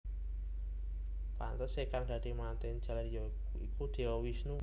Pantesé kang dadi mantèn jaler ya iku Dewa Wisnu